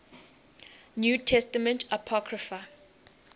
new testament apocrypha